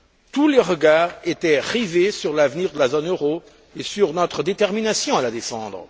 Tous les regards étaient rivés sur l'avenir de la zone euro et sur notre détermination à la défendre.